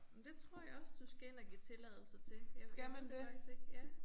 Men det tror jeg også du skal ind og give tilladelse til. Jeg jeg ved det faktisk ikke ja